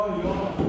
Vay Allah!